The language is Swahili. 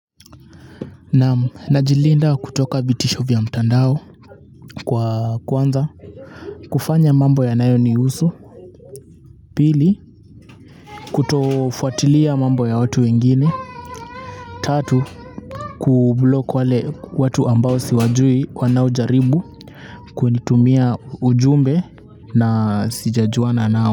Najilinda kutoka vitisho vya mtandao kwa kwanza kufanya mambo yanayo nihusu. Pili kutofuatilia mambo ya watu wengine. Tatu kublock wale watu ambao siwajui wanaojaribu kunitumia ujumbe na sijajuana nao.